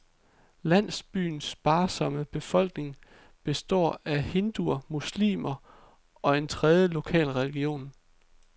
Landsbyens sparsomme befolkning består af hinduer, muslimer og en tredje lokal religion.